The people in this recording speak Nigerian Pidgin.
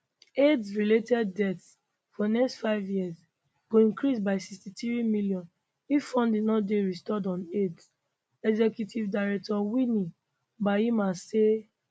aids related deaths for next five years go increase by 63 million if funding no dey restored unaids executive director winnie byanyima say